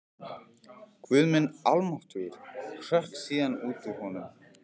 Guð minn almáttugur hrökk síðan út úr honum.